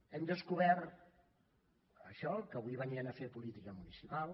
hem descobert això que avui venien a fer política municipal